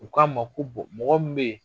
U k'a ma ko mɔgɔ min bɛ yen